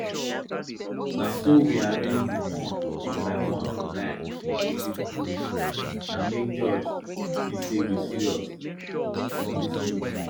na so we arrange di corn one by one for line make e look good na make judge see say we serious for dis youth